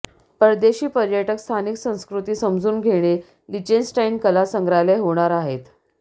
परदेशी पर्यटक स्थानिक संस्कृती समजून घेणे लिंचेनस्टाइन कला संग्रहालय होणार आहेत